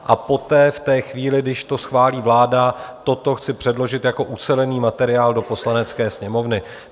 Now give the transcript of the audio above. A poté v té chvíli, když to schválí vláda, toto chci předložit jako ucelený materiál do Poslanecké sněmovny.